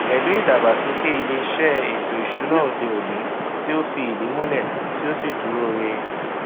pẹlú ìdàgbàsókè ilé iṣẹ ètò ìsúná òde òní tí fi ìdí múlè ó sì dúró ree